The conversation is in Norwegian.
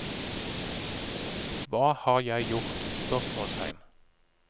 Hva har jeg gjort? spørsmålstegn